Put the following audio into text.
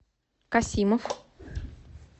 касимов